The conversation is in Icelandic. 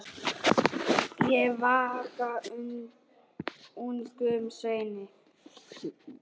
Ég vagga ungum sveini.